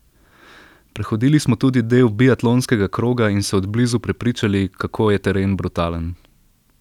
Prehodili smo tudi del biatlonskega kroga in se od blizu prepričali, kako je teren brutalen.